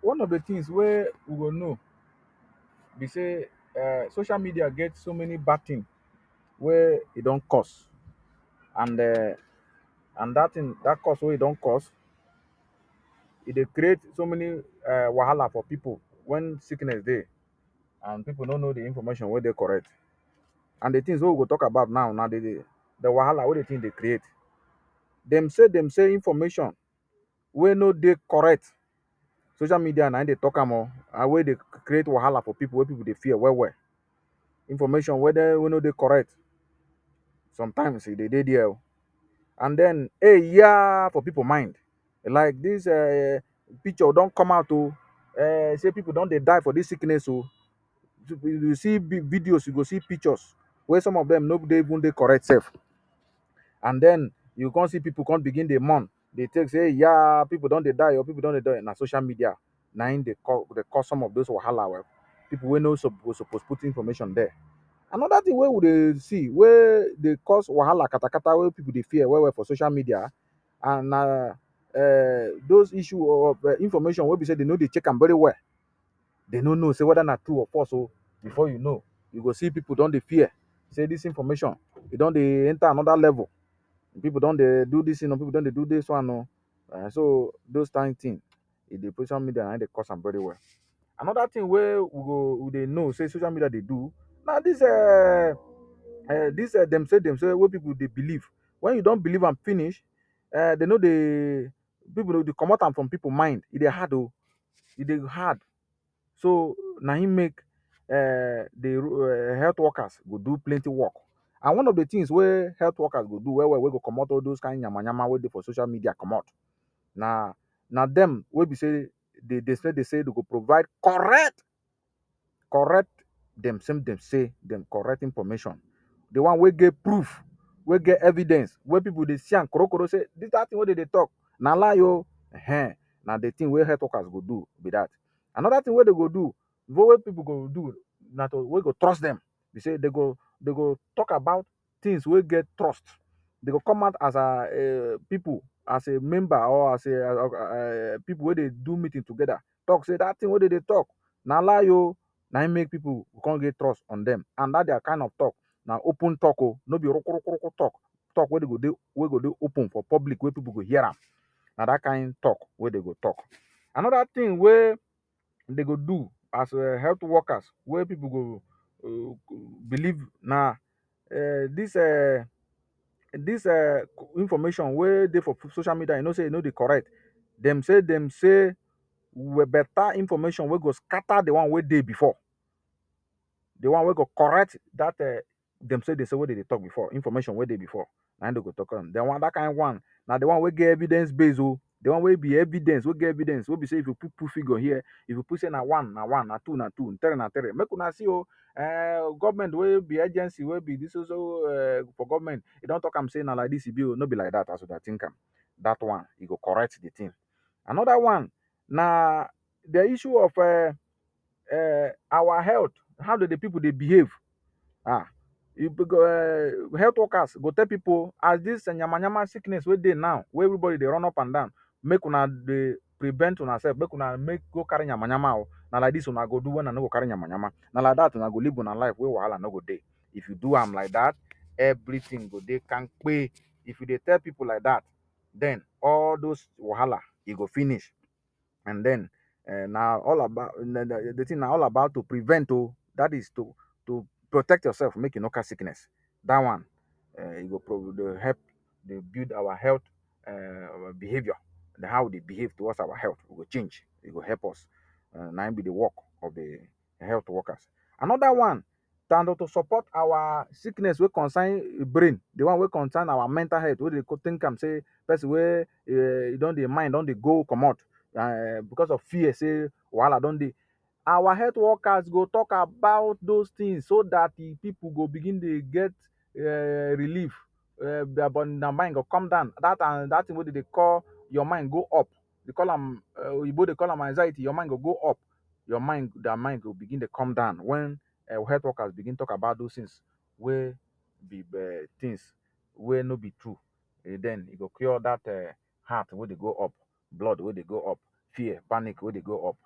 One of the tins wey we go know be sey um social media get so many bad tin wey e don cause. An um an dat tin dat cause wey e don cause, e dey create so many um wahala for pipu wen sickness dey an pipu no know the information wey dey correct. An the tins wey we go talk about now na the the wahala wey the tin dey create. Dem-say dem-say information wey no dey correct, social media na ein dey talk am o, an wey dey create wahala for pipu wey pipu dey fear well-well. Information wey no dey correct, sometimes e dey dey there oh. An then “Ehyah” for pipu mind like dis um picture don come out oh um sey pipu don dey die for dis sickness oh. You see videos, you go see pictures, wey some of dem no dey even dey correct sef. An then, you go con see pipu con begin dey mourn, dey think sey “Ehyah…pipu don dey die oh, pipu don dey die.” Na social media, na ein dey dey cause some of dos wahala well. Pipu wey no suppose suppose put information there. Another tin wey we dey see wey dey cause wahala katakata wey pipu dey fear well-well for social media an na um dos issue of um information wey be sey de no dey check am very well. De no know sey whether na true or false oh. Before you know, you go see pipu don dey fear sey dis information, e don dey enter another level, an pipu don dey do dis tin oh, pipu don dey do dis one oh. um so dos kain tin e dey. Social media na ein dey cause am very well. Another tin wey we go we dey know sey social media dey do na dis um dis um dem-say dem-say wey pipu dey believe. Wen you don believe am finish, um de no dey, pipu dey comot am from pipu mind e dey hard oh. E dey hard. So, na ein make um the um health workers go do plenty work. An one of the tins wey health workers go do well-well wey go comot all dos kain yamayama wey dey for social media comot, na na dem wey be sey de de say de say you go provide correct correct dem-say dem-say dem correct information, the one wey get proof, wey get evidence, wey pipu dey see am korokoro sey dis kain tin wey de dey talk, na lie oh. um, na the tin wey health workers go do be dat. Another tin wey de go do pipu go do na to wey go trust dem be sey de go de go talk about tins wey get trust. De go come out as um pipu as a member or as a um pipu wey dey do meeting together talk sey dat tin wey de dey talk, na lie oh. Na ein make pipu con get trust on dem. An dat dia kain of talk, na open talk oh, no be rokorokoroko talk. Talk wey de go dey wey go dey open for public wey pipu go hear am. Na dat kain talk wey de go talk. Another tin wey de go do as um health workers wey pipu go believe na um dis um dis um information wey dey for social media, you know sey e no dey correct. Dem-say dem-say way beta information wey go scatter the one wey dey before. The one wey go correct dat um dem-say dem-say we de dey talk before information wey dey before na ein de go talk. Then, dat kain one, na the one wey get evidence base oh—the one wey be evidence, wey get evidence—wey be sey if you put put figure here, if you prove sey na one, na one; na two, na two; three na three. “Make una see oh um government wey be agency wey be dis so so um for government e don talk am sey na like dis e be oh, no be like dat as you dey think am,” dat one, e go correct the tin. Another one na the issue of um our health, how do the pipu dey behave? um um health workers go tell pipu oh, “As dis yamayama sickness wey dey now, wey everybody dey run upandan, make una dey prevent unasef make una make go carry yamayama oh. Na like na like dis una go do wey una no go carry yamayama, na like dat una go live una life wey wahala no go dey. If you do am like dat, everything go dey kampe.” If you dey tell pipu like dat, then all those wahala, e go finish. An then um na all about the tin na all about to prevent oh. Dat is to to protect yoursef make you no catch sickness. Dat one, um e go help dey build our health um behaviour, an how we dey behave towards our health, we go change, e go help us. um Na ein be the work of the health workers. Another one na to support our sickness wey concern brain—the one wey concern our mental health— wey dey think am sey peson wey um e don dey mind don dey go comot um becos of fear sey wahala don dey. Our health workers go talk about dos tins so dat the pipu go begin dey get um relief um dia mind go come down, dat an dat tin wey de dey call your mind go up, de call am um oyinbo dey call am anxiety—your mind go go up. Your mind, dia mind, go begin dey come down wen um health workers begin talk about dos tins wey be um tins wey no be true. E then e go cure dat um heart wey dey go up, blood wey dey go up, fear, panic wey dey go up.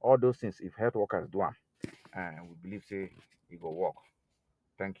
All dos tins, if health workers do am, um we believe sey e go work. Thank you.